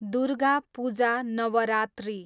Durga Puja, Navratri